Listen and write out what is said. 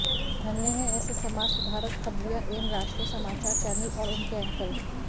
धन्य है ऐसे समाज सुधारक खबरिया एवं राष्ट्रीय समाचार चैनल और उनके एंकर